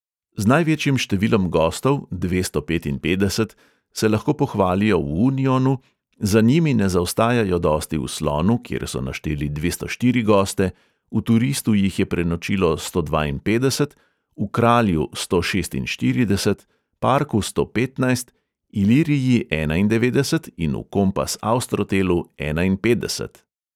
Z največjim številom gostov (dvesto petinpetdeset), se lahko pohvalijo v unionu, za njimi ne zaostajajo dosti v slonu, kjer so našteli dvesto štiri goste, v turistu jih je prenočilo sto dvainpetdeset, v kralju sto šestinštirideset, parku sto petnajst, iliriji enaindevetdeset in v kompas austrotelu enainpetdeset.